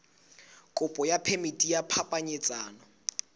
kopo ya phemiti ya phapanyetsano